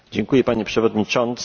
Panie Przewodniczący!